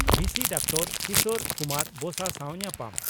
ᱵᱷᱤᱥᱤ doctor Kishor Kumar Basa ᱥᱟᱣ ᱧᱟᱯᱟᱢ